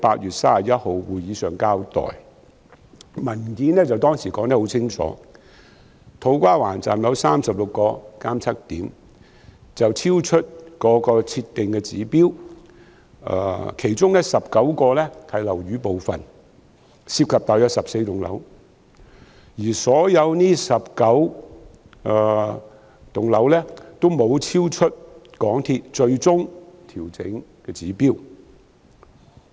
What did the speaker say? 當時的文件說得很清楚，土瓜灣站有36個監測點超出設定的指標，其中19個是樓宇部分，涉及大約14幢樓宇，而所有樓宇均沒有超出港鐵公司最終調整的指標。